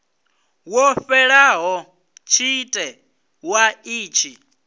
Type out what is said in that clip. wo fhelaho tshite wa itshi